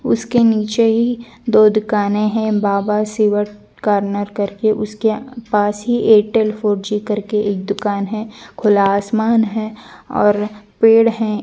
उसके नीचे ही दो दुकाने हैं बाबा शिवर कॉर्नर करके उसके पास ही एयरटेल फोर. जी करके एक दुकान है खुला आसमान है और पेड़ है।